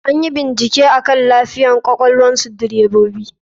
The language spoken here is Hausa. Anyi bincike akan lafiyan kwakwalnsu direbobi.